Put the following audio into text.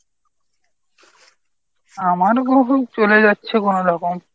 আমার চলে যাচ্ছে কোনো রকম।